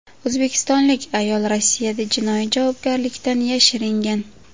O‘zbekistonlik ayol Rossiyada jinoiy javobgarlikdan yashiringan.